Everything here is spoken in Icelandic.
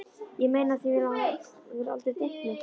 Ég meina af því mig hefur aldrei dreymt neitt.